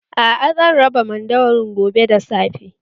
Aa, zan raba mandawarin gobe da safe